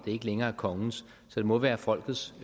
det ikke længere er kongens så det må være folkets